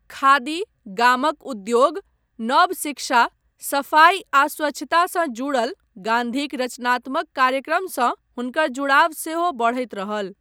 खादी, गामक उद्योग, नव शिक्षा, सफाई आ स्वच्छता सँ जुड़ल गान्धीक रचनात्मक कार्यक्रमसँ हुनकर जुड़ाव सेहो बढैत रहल।